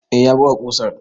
Eh, ya buga ƙusar.